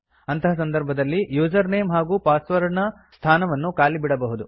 ಅಂಥಹ ಸಂದರ್ಭದಲ್ಲಿ user name ಹಾಗೂ password ನ ಸ್ಥಾನವನ್ನು ಖಾಲಿ ಬಿಡಬಹುದು